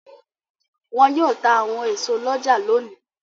Wọn yóò ta àwọn èso lọ́jà lónìí.